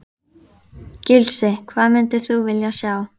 Gísli: Hvað myndir þú vilja sjá?